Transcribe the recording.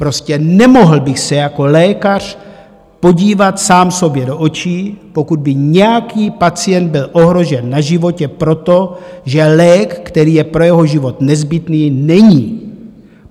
Prostě nemohl bych se jako lékař podívat sám sobě do očí, pokud by nějaký pacient byl ohrožen na životě proto, že lék, který je pro jeho život nezbytný, není.